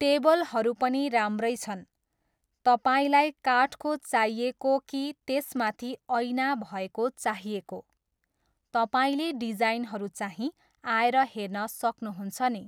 टेबलहरू पनि राम्रै छन्। तपाईँलाई काठको चाहिएको कि त्यसमाथि ऐना भएको चाहिएको? तपाईँले डिजाइनहरू चाहिँ आएर हेर्न सक्नुहुन्छ नि।